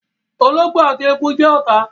ológbò àti eku jẹ́ ọ̀tá